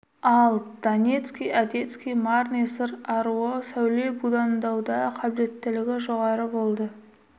ал донецкий одесский марни сыр аруы сәуле будандауда қабілеттілігі жоғары болды